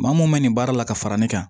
Maa mun bɛ nin baara la ka fara ne kan